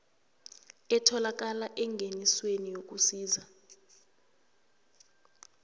etholakala engenisweni yokusisa